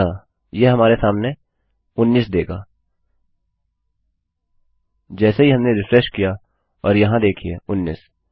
अतःयह हमारे सामने उन्नीस देगा जैसे ही हमने रिफ्रेश किया और यहाँ देखिये उन्नीस